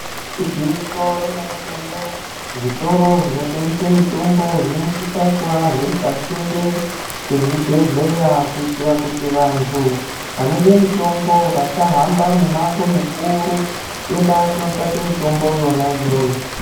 Igwinyiso remene-mene zvitoro zvinotengese mitombo zvinosisa kuva zviri pasinde ngezvibhehleya kuitira kuti vantu vanode mitombo vasahamba mimango mikuru kuenda kunotsvake mitombo yona iyoyo.